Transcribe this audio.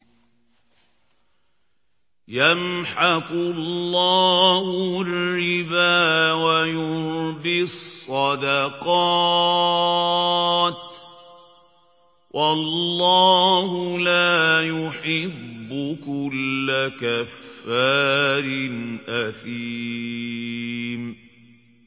يَمْحَقُ اللَّهُ الرِّبَا وَيُرْبِي الصَّدَقَاتِ ۗ وَاللَّهُ لَا يُحِبُّ كُلَّ كَفَّارٍ أَثِيمٍ